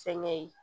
Fɛnkɛ ye